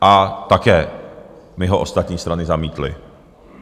A také mi ho ostatní strany zamítly.